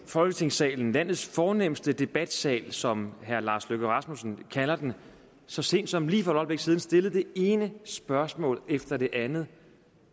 folketingssalen landets fornemste debatsal som herre lars løkke rasmussen kalder den så sent som lige for et øjeblik siden stillet det ene spørgsmål efter det andet